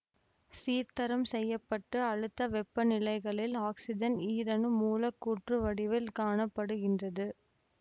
சீர்தரம் செய்ய பட்ட அழுத்த வெப்ப நிலைகளில் ஆக்சிசன் ஈரணு மூலக்கூறு வடிவில் காண படுகின்றது